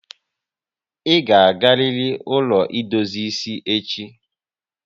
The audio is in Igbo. I ga agariri ụlọ edozi isi echi!